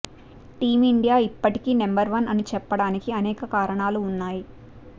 team India ఇప్పటికీ number one అని చెప్పడానికి అనేక కారణాలు ఉన్నాయి